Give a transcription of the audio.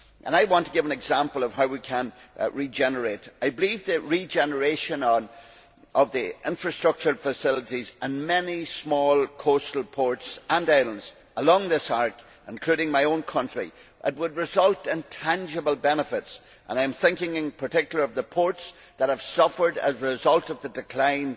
arc. I want to give an example of how we can regenerate. I believe that regeneration of the infrastructural facilities in many small coastal ports and islands along this arc, including my own country, would result in tangible benefits. I am thinking in particular of the ports that have suffered as a result of the